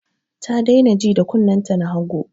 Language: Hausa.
Ta daina ji da kunnen ta na hagu